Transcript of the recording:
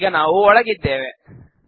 ಈಗ ನಾವು ಒಳಗಿದ್ದೇವೆ